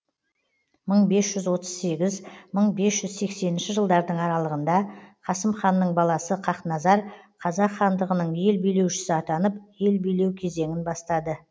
мың бес жүз отыз сегіз мың бес жүз сексенінші жылдардың аралығында қасым ханның баласы хақназар қазақ хандығының ел билеушісі атанып ел билеу кезеңін бастады